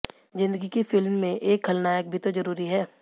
जिंदगी की फिल्म में एक खलनायक भी तो जरूरी है